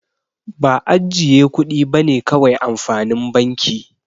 Ba ajjiye kudi bane kawai amfanin banki.